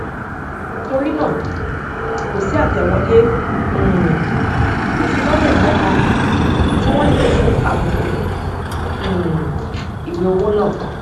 torí náà kò sí àtẹwọlé um ìfilọlẹ kànkan tí wón nílò fún àbùkù um ìwé owó náà